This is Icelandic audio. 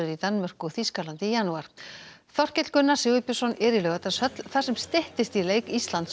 Danmörku og Þýskalandi í janúar Þorkell Gunnar Sigurbjörnsson er í Laugardalshöll þar sem styttist í leik Íslands og